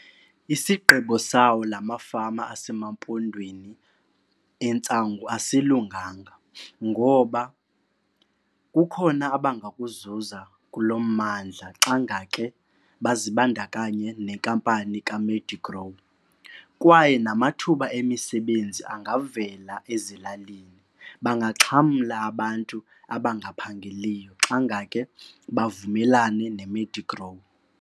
Isigqibo sawo lamafama aseMampondweni entsangu asilunganga ngoba kukhona abangakuzuza kulo mmandla xa ngake bazibandakanye nenkampani kaMedigrow kwaye namathuba emisebenzi angavela ezilalini. Bangaxhamla abantu abangaphangeliyo xa ngake bavumelane neMedigrow.